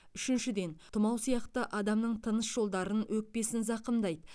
үшіншіден тұмау сияқты адамның тыныс жолдарын өкпесін зақымдайды